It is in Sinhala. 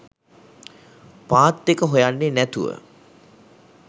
පාත් එක හොයන්නේ නැතුව